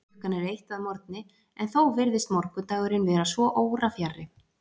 Klukkan er eitt að morgni, en þó virðist morguninn vera svo órafjarri.